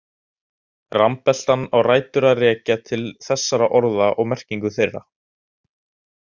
Rambeltan á rætur að rekja til þessara orða og merkinga þeirra.